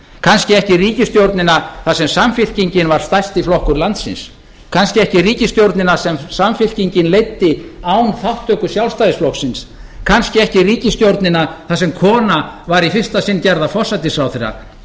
kannski ekki ríkisstjórnina þar sem samfylkingin var stærsti flokkur landsins kannski ekki ríkisstjórnina sem samfylkingin leiddi án þátttöku sjálfstæðisflokksins kannski ekki ríkisstjórnina þar sem kona var í fyrsta sinn gerð að forsætisráðherra